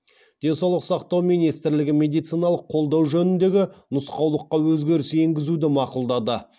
денсаулық сақтау министрлігі медициналық қолдану жөніндегі нұсқаулыққа өзгеріс енгізуді мақұлдады